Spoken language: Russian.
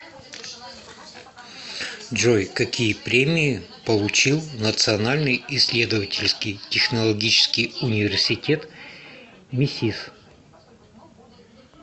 джой какие премии получил национальный исследовательский технологический университет мисис